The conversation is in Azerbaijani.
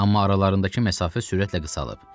Amma aralarındakı məsafə sürətlə qısalıb.